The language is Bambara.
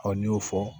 n'i y'o fɔ